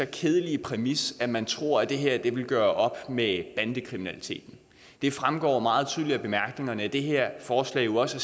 kedelige præmis at man tror at det her vil gøre op med bandekriminaliteten det fremgår meget tydeligt af bemærkningerne at det her forslag jo også